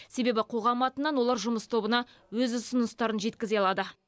себебі қоғам атынан олар жұмыс тобына өз ұсыныстарын жеткізе алады